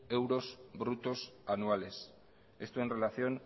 euros brutos anuales esto en relación